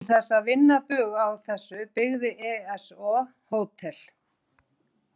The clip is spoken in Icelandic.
Til þess að vinna bug á þessu byggði ESO hótel.